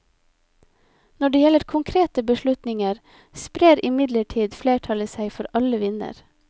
Når det gjelder konkrete beslutninger, sprer imidlertid flertallet seg for alle vinder.